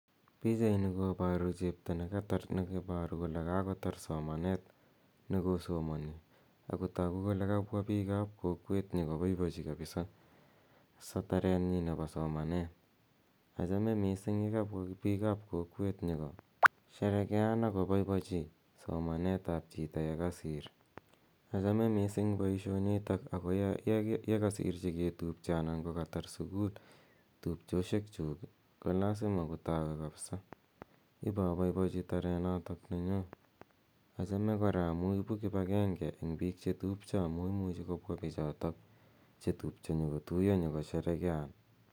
Pichani koparu chepto ne iparu kole kakotar somanet ne kosomani ako tagu kole piik ap kokwet nyu kopaipachi kapisa tarenyi nepo somanet. Achame missing' ye kapwa piik ap kokwet nyu ko sherekean ako poipochi somanet ap chiton ye kasir. Achame missing' poishonitok ako ye kasir che ketupche anan ko katar sukul tupchoshekchuk ko lasima kotawe kapisa ipa paipachi tarenotonywa. Achame kora amu ipu kipagenge eng' piik che tupcho amu imuchi kopwa pichotok chetupcho nyu kotuya nyu kosherekean.